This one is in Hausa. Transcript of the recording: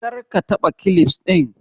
Kar ka taɓa kilifs ɗin!